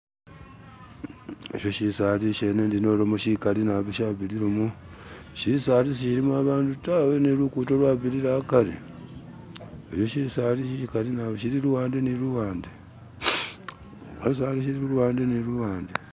Esho shisali shikali shishene shabirilamo, shisali si shilimo abandu tawe ne lukhudo lwabirilamo hakari heshi shisali shigali shili luhande ni luhande, shisali shili luhande ni luhande